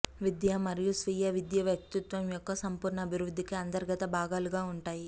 విద్య మరియు స్వీయ విద్య వ్యక్తిత్వం యొక్క సంపూర్ణ అభివృద్ధికి అంతర్గత భాగాలుగా ఉంటాయి